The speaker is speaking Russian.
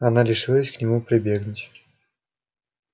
она решилась к нему прибегнуть